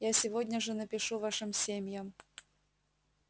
я сегодня же напишу вашим семьям